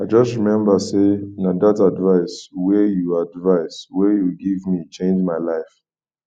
i just rememba sey na dat advice wey you advice wey you give me change my life